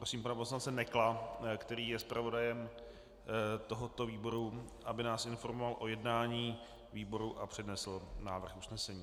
Prosím pana poslance Nekla, který je zpravodajem tohoto výboru, aby nás informoval o jednání výboru a přednesl návrh usnesení.